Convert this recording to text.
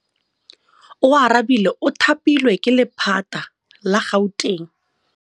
Oarabile o thapilwe ke lephata la Gauteng.